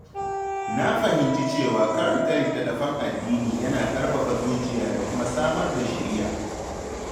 Na fahimci cewa karanta littattafan addini yana ƙarfafa zuciya da kuma samar da shiriya.